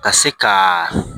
Ka se ka